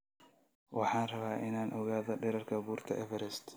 Waxaan rabaa inaan ogaado dhererka buurta Everest